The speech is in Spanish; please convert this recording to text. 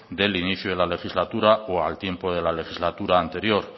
del inicio de la legislatura o al tiempo de la legislatura anterior